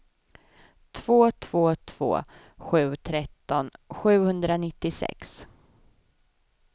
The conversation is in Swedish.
två två två sju tretton sjuhundranittiosex